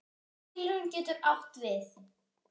Tilraun getur átt við